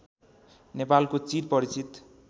नेपालको चिर परिचित